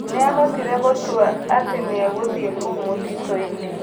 Nĩahotire gũtua atĩ nĩagũthiĩ kũu mũtitũinĩ.